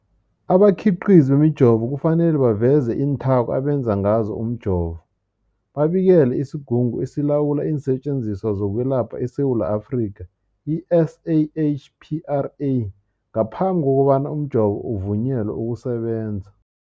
Abakhiqizi bemijovo kufanele baveze iinthako abenze ngazo umjovo, babikele isiGungu esiLawula iinSetjenziswa zokweLapha eSewula Afrika, i-SAHPRA, ngaphambi kobana umjovo uvunyelwe ukusebenza.